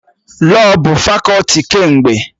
Lọọ bụ fakọti kemgbe